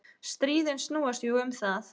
Stríðin snúast jú um það.